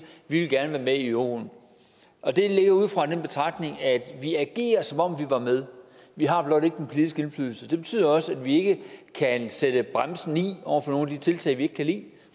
vi vil gerne være med i euroen og det er alene ud fra den betragtning at vi agerer som om vi var med vi har blot ikke den politiske indflydelse det betyder også at vi ikke kan sætte bremsen i over for nogen af de tiltag vi ikke kan lide